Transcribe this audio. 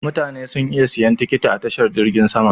Mutane suna iya siyan tikiti a tashar jirgin sama.